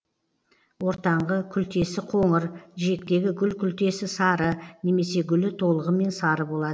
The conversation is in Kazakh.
ортаңғы күлтесі қоңыр жиектегі гүл күлтесі сары немесе гүлі толығымен сары болады